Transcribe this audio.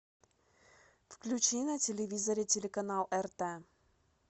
включи на телевизоре телеканал рт